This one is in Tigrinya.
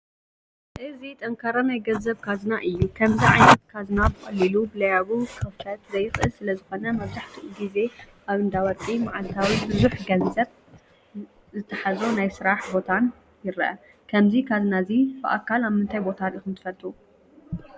እዚ ጠንካራ ናይ ገንዘብ ካዝና እዩ፡፡ ከምዚ ዓይነት ካዝና ብቐሊሉ ብለያቡ ክኽፈት ዘይኽእል ስለዝኾነ መብዛሕትኡ ጊዜ ኣብ እንዳወርቂ፣ ማዓልታዊ ብዙሕ ገንዘብ ዝታሓዞ ናይ ስራሕ ቦታን ይረአ፡፡ ከምዚ ካዝና እዚ ብኣካል ኣብ ምንታይ ቦታ ሪኢኹም ትፈልጡ?